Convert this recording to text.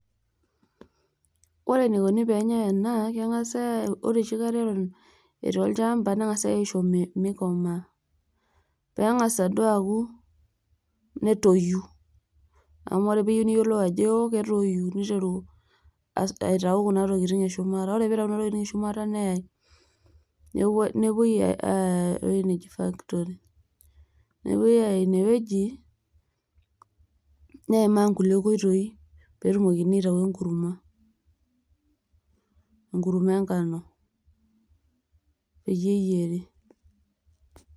ore eneikoni pee enyae ena. ore enoshi kata etii olchampa, neng'as aisho mikomaa. metang'asa duo aku netoyu. amu ore pee iyieu niyiolou ajo eo, ketoyu. neiteru aitau kuna tokitin eshumata, ore pee eitayu kuna tokitin eshumata neyae, ewueji neji factory. nepuoi ayaa ine wueji neimaa nkulie oitoi, pee etumokini aitayu enkurma. enkurma enkano.